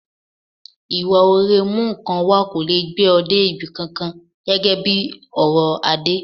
Ìwà ọ̀rẹ́ mú nǹkan wá kò lè gbé ọ dé ibi kankan, gẹ́gẹ́ bí ọ̀rọ̀ Adé.